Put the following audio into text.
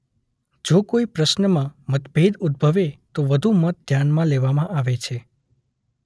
જો કોઇ પ્રશ્નમાં મતભેદ ઉદભવે તો વધુ મત ધ્યાનમાં લેવામાં આવે છે.